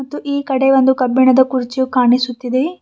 ಮತ್ತು ಈ ಕಡೆ ಒಂದು ಕಬ್ಬಿಣದ ಕುರ್ಚಿಯು ಕಾಣಿಸುತ್ತಿದೆ.